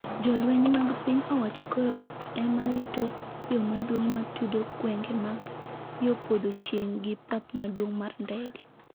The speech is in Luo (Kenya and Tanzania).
jolweny mag piny owacho koro ema rito yo maduong’ ma tudo gwenge mag yo podho chieng’ gi pap maduong’ mar ndege.